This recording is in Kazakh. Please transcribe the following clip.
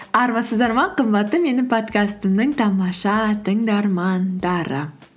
армысыздар ма қымбатты менің подкастымның тамаша тыңдармандары